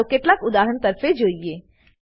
ચાલો કેટલાક ઉદાહરણો તરફે જોઈએ